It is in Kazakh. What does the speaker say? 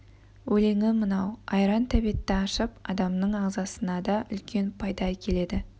өлеңі мынау айран тәбетті ашып адамның ағзасына да үлкен пайда әкеледі